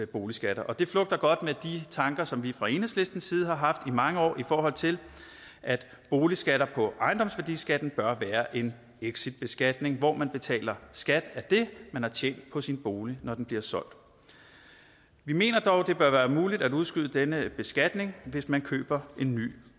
boligskatter det flugter godt med de tanker som vi fra enhedslistens side har haft i mange år i forhold til at boligskatter på ejendomsværdiskatten bør være en exitbeskatning hvor man betaler skat af det man har tjent på sin bolig når den bliver solgt vi mener dog at det bør være muligt at udskyde denne beskatning hvis man køber en ny